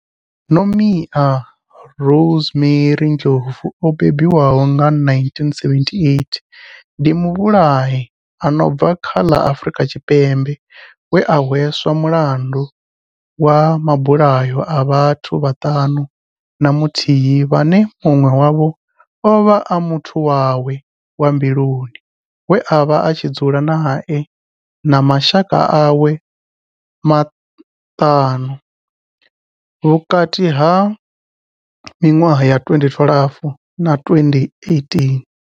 Nomia Rosemary Ndlovu o bebiwaho nga 1978 ndi muvhulahi a no bva kha ḽa Afurika Tshipembe we a hweswa mulandu wa mabulayo a vhathu vhaṱanu na muthihi vhane munwe wavho ovha a muthu wawe wa mbiluni we avha a tshi dzula nae na mashaka awe maṱanu vhukati ha minwaha ya 2012 na 2018.